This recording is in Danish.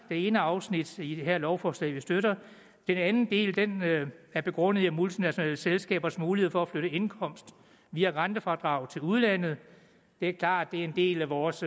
ene afsnit i det her lovforslag vi støtter den anden del er begrundet i multinationale selskabers mulighed for at flytte indkomst via rentefradrag til udlandet det er klart at det er en del af vores